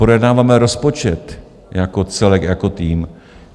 Projednáváme rozpočet jako celek, jako tým.